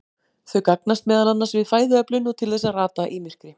Þau gagnast meðal annars við fæðuöflun og til þess að rata í myrkri.